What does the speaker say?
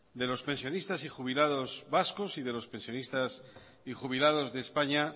de los pensionistas y jubilados vascos y de los pensionistas y jubilados de españa